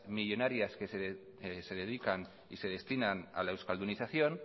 millónarias que se dedican y destinan a la euskaldunización